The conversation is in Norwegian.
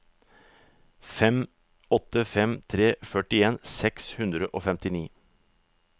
fem åtte fem tre førtien seks hundre og femtini